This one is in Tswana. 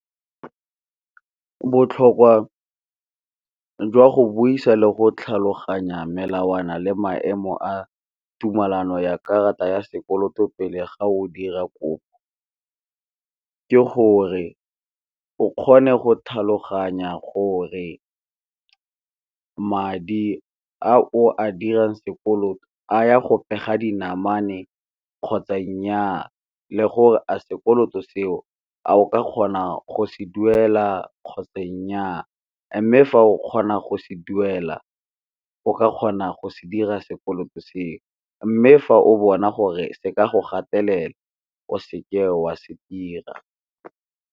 Botlhokwa jwa go buisa le go tlhaloganya melawana le maemo a tumelano ya karata ya sekoloto pele ga o dira kopo, ke gore o kgone go tlhaloganya gore madi a o a dirang sekoloto a ya go pega dinamane kgotsa nnyaa le gore a sekoloto seo a o ka kgona go se duela kgotsa nnyaa. Mme fa o kgona go se duela o ka kgona go se dira sekoloto seo, mme fa o bona gore se ka go gatelela o seke o a se dira.